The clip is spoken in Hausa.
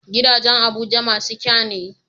Gidajan abuja masu kyane